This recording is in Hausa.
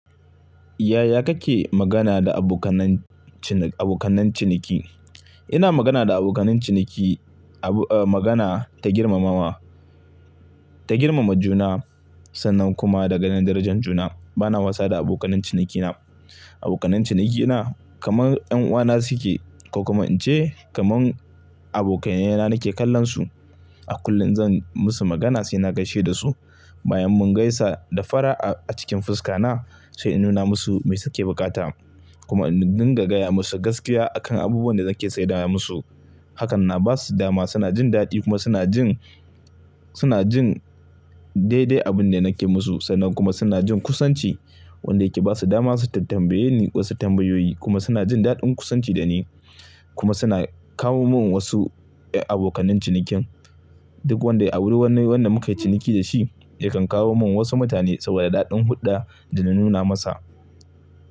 Yaya kake magana da abokanancin-abokanan ciniki? Ina magana da abokanan ciniki abu, eh, magana ta girmamawa, ta girmama juna sannan kuma da ganin darajan juna. Bana wasa da abokanan cinikina. Abokanan cinikina kamar 'yan uwana suke ko kuma in ce kamar abokainena nake kallonsu. A kullum zan musu magana sai na gaishe da su. Bayan mun gaisa da fara'a a cikin fuska na sai in nuna musu me suke bukata kuma in dinga gaya musu gaskiya akan abubuwan da nake saida musu. Hakan na ba su dama suna jin daɗi kuma suna jin, suna jin daidai abin da nake musu sannan kuma suna jin kusanci wanda yake ba su dama su tambaye ni wasu tambayoyi kuma suna jin daɗin kusanci da ni kuma suna kawo mun wasu abokanan cinikin. Duk wanda ya bi ruwan wani wanda muka yi ciniki da shi yakan kawo mun wasu mutane saboda daɗin huɗɗa da na nuna masa.